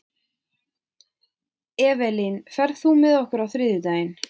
Evelyn, ferð þú með okkur á þriðjudaginn?